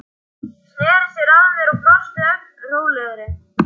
Sneri sér að mér og brosti, ögn rólegri.